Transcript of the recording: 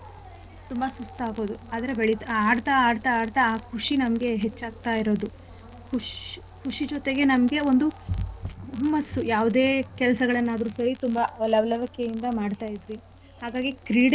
ತುಂಬಾ ಸುಸ್ತಾಗೋದು ಅದ್ರೆ ಬೆಳಿ~ ಆಡ್ತಾ ಆಡ್ತಾ ಆಡ್ತಾ ಖುಷಿ ನಮ್ಗೆ ಹೆಚ್ಚಾಗ್ತಾ ಇರೋದು ಕುಶ್~ ಖುಷಿ ಜೊತೆಗೆ ನಮ್ಗೆ ಒಂದು ಹುಮ್ಮಸ್ಸು ಯಾವ್ದೇ ಕೆಲ್ಸಗಳನ್ನಾದ್ರು ಸರಿ ತುಂಬಾ ಲವ್ಲವಿಕೆಯಿಂದ.